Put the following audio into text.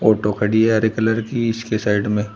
टोकड़ी है हरे कलर की इसके साइड में--